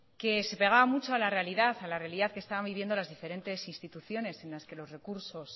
que se pegaba mucho a la realidad a la realidad que estaba midiendo las diferentes instituciones en las que los recursos